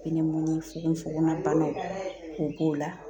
fogofogolabanaw o b'o la